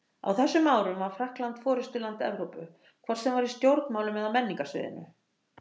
Á þessum árum var Frakkland forystuland Evrópu, hvort sem var í stjórnmálum eða á menningarsviðinu.